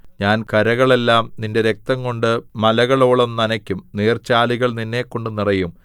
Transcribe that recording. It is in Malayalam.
ഞാൻ കരകളെല്ലാം നിന്റെ രക്തംകൊണ്ട് മലകളോളം നനയ്ക്കും നീർച്ചാലുകൾ നിന്നെക്കൊണ്ടു നിറയും